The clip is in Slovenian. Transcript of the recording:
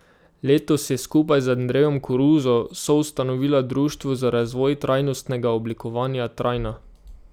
Letos je skupaj z Andrejem Koruzo soustanovila društvo za razvoj trajnostnega oblikovanja Trajna.